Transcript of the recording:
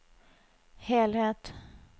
helhet